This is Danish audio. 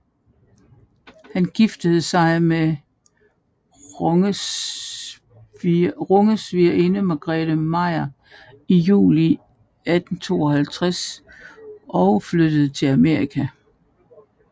Han giftede sig med Ronges svigerinde Margarethe Meyer i juli 1852 og flyttede til Amerika